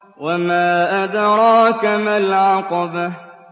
وَمَا أَدْرَاكَ مَا الْعَقَبَةُ